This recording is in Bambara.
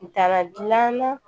Dala gilan na